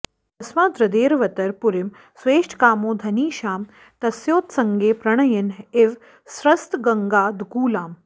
तस्मादद्रेरवतर पुरीं स्वेष्टकामो धनीशां तस्योत्सङ्गे प्रणयिन इव स्रस्तगङ्गादुकूलाम्